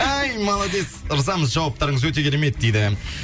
ай молодец ырзамыз жауаптарыңыз өте керемет дейді